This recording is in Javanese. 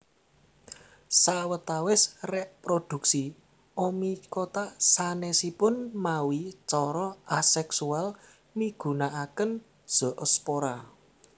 Sawetawis réprodhuksi Oomycota sanèsipun mawi cara aseksual migunakaken zoospora